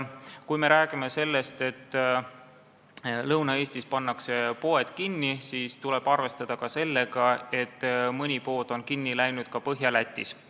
Kui me räägime sellest, et Lõuna-Eestis pannakse poed kinni, siis tuleb arvestada seda, et mõni pood on kinni läinud ka Põhja-Lätis.